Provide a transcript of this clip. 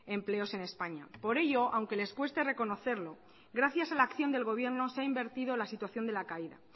empleos en españa por ello aunque les cueste reconocerlo gracias a la acción del gobierno se ha invertido la situación de la caída